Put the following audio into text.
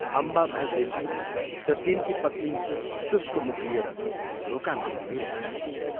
अम्बाभाइ देसाई र तिनकी पत्नी शुष्क मुख लिएर ढोकामा उभिरहेका थिए।